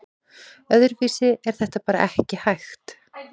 Öðruvísi er þetta bara ekki hægt